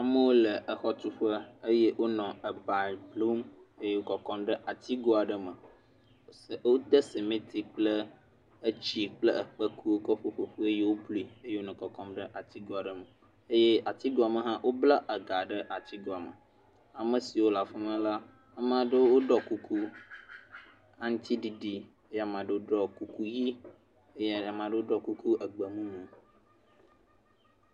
Amewo le exɔtuƒe eye wonɔ eba blum eye wokɔ nɔ kɔkɔm ɖe atigo aɖe me. Wode simiti kple etsi kple ekpeku kɔ kɔ ƒoƒu eye woblui eye wonɔ kɔkɔm ɖe atigo aɖe me. Eye atigoa me hã wobla ega ɖe atigoa me, ame siwo le afi ma la, ame aɖewo woɖɔ kuku aŋutiɖiɖi, eye amea ɖewo ɖɔ kuku ʋɛ̃ eye amea ɖewo ɖɔ kuku egbemumu.